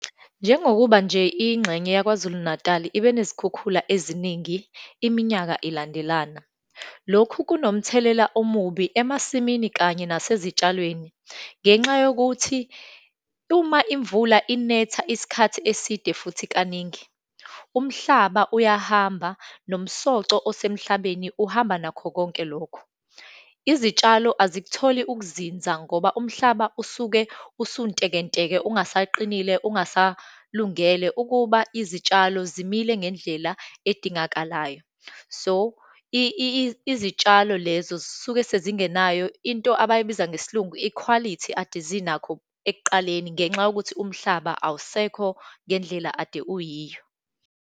Njengokuba nje ingxenye yaKwaZulu Natali ibe nezikhukhula eziningi, iminyaka ilandelana. Lokhu kunomthelela omubi emasimini kanye nasezitshalweni, ngenxa yokuthi uma imvula inetha isikhathi eside, futhi kaningi, umhlaba uyahamba, nomsoco osemhlabeni uhamba nakho konke lokho. Izitshalo azikutholi ukuzinza ngoba umhlaba usuke usuntekenteke, ungasaqinile, ungasalungele ukuba izitshalo zimile ngendlela edingakalayo. So, izitshalo lezo zisuke sezingenayo into abayibiza ngesiLungu, ikhwalithi ade zinakho ekuqaleni ngenxa yokuthi umhlaba awusekho ngendlela ade uyiyo.